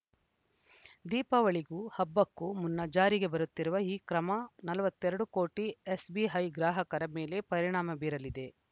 ದೀಪಾವಳಿಗೂ ಹಬ್ಬಕ್ಕೂ ಮುನ್ನ ಜಾರಿಗೆ ಬರುತ್ತಿರುವ ಈ ಕ್ರಮ ನಲವತ್ತೆರಡು ಕೋಟಿ ಎಸ್‌ಬಿಐ ಗ್ರಾಹಕರ ಮೇಲೆ ಪರಿಣಾಮ ಬೀರಲಿದೆ